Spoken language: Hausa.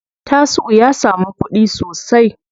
Tasi'u ya samu kuɗi sosai.